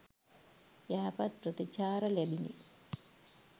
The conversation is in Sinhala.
යහපත් ප්‍රතිචාර ලැබිණි.